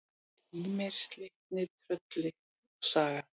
Ýmir, Sleipnir, Trölli og Saga.